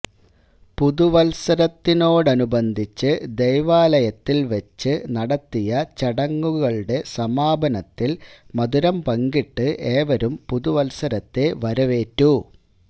പുതുവത്സരത്തോടനുബന്ധിച്ച് ദൈവാലയത്തില് വച്ച് നടത്തിയ ചടങ്ങുകളുടെ സമാപനത്തില് മധുരം പങ്കിട്ട് ഏവരും പുതുവത്സരത്തെ വരവേറ്റു